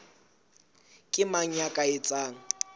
ke mang ya ka etsang